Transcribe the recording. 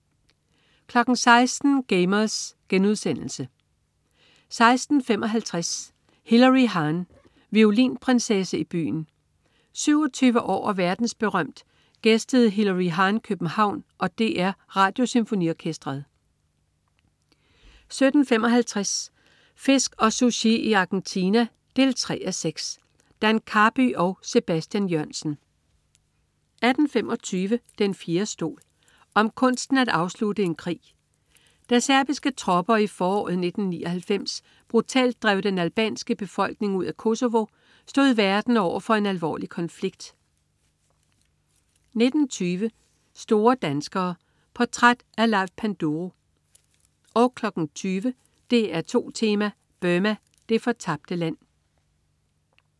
16.00 Gamers* 16.55 Hilary Hahn, violinprinsesse i byen. 27 år og verdensberømt gæstede Hilary Hahn København og DR Radiosymfoniorkestret 17.55 Fisk og Sushi i Argentina 3:6. Dan Karby og Sebastian Jørgensen 18.25 Den fjerde stol. Om kunsten at afslutte en krig. Da serbiske tropper i foråret 1999 brutalt drev den albanske befolkning ud af Kosovo, stod verden over for en alvorlig konflikt 19.20 Store danskere. Portræt af Leif Panduro 20.00 DR2 Tema: Burma, det fortabte land